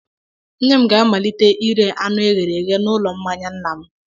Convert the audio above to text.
Nne m ga-amalite ire anụ e ghere eye n'ụlọ mmanya nna m.